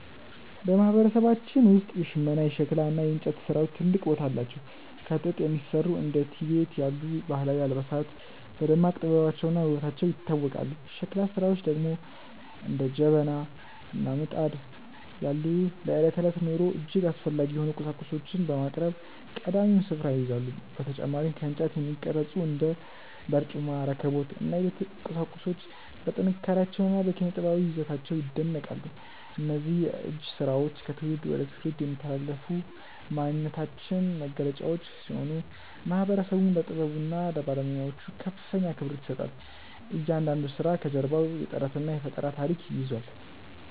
በማህበረሰባችን ውስጥ የሽመና፣ የሸክላ እና የእንጨት ስራዎች ትልቅ ቦታ አላቸው። ከጥጥ የሚሰሩ እንደ ቲቤት ያሉ ባህላዊ አልባሳት በደማቅ ጥበባቸውና ውበታቸው ይታወቃሉ። የሸክላ ስራዎች ደግሞ እንደ ጀበና እና ምጣድ ያሉ ለዕለት ተዕለት ኑሮ እጅግ አስፈላጊ የሆኑ ቁሳቁሶችን በማቅረብ ቀዳሚውን ስፍራ ይይዛሉ። በተጨማሪም ከእንጨት የሚቀረጹ እንደ በርጩማ፣ ረከቦት እና የቤት ቁሳቁሶች በጥንካሬያቸውና በኪነ-ጥበባዊ ይዘታቸው ይደነቃሉ። እነዚህ የእጅ ስራዎች ከትውልድ ወደ ትውልድ የሚተላለፉ የማንነታችን መገለጫዎች ሲሆኑ፣ ማህበረሰቡም ለጥበቡና ለባለሙያዎቹ ከፍተኛ አክብሮት ይሰጣል። እያንዳንዱ ስራ ከጀርባው የጥረትና የፈጠራ ታሪክ ይዟል።